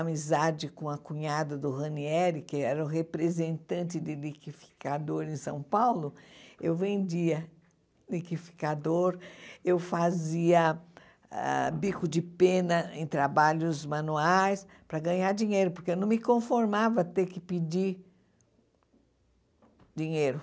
amizade com a cunhada do Ranieri, que era o representante de liquidificador em São Paulo, eu vendia liquidificador, eu fazia ah bico de pena em trabalhos manuais para ganhar dinheiro, porque eu não me conformava ter que pedir dinheiro.